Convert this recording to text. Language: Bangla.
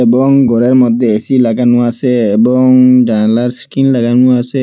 এবং ঘরের মধ্যে এ_সি লাগানো আসে এবং জানালার স্ক্রিন লাগানো আসে।